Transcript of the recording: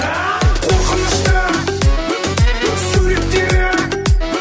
қорқынышты суреттері